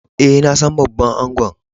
Eh, na san babban angon.